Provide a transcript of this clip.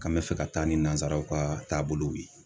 K'an mɛ fɛ ka taa ni nanzaraw ka taabolow ye.